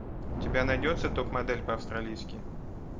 у тебя найдется топ модель по австралийски